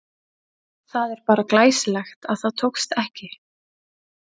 Það er bara glæsilegt að það tókst ekki!